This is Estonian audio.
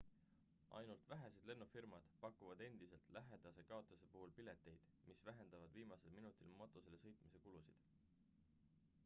ainult vähesed lennufirmad pakuvad endiselt lähedase kaotuse puhul pileteid mis vähendavad viimasel minutil matustele sõitmise kulusid